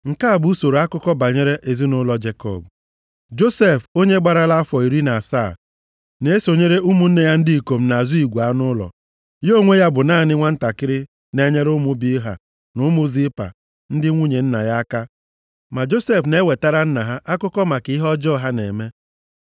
Nke a bụ usoro akụkọ banyere ezinaụlọ Jekọb. Josef, onye gbarala afọ iri na asaa, na-esonyere ụmụnne ya ndị ikom na-azụ igwe anụ ụlọ, ya onwe ya bụ naanị nwantakịrị na-enyere ụmụ Bilha na ụmụ Zilpa ndị nwunye nna ya aka. Ma Josef na-ewetara nna ha akụkọ maka ihe ọjọọ ha na-eme.